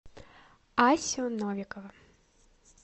асю новикова